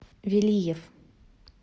велиев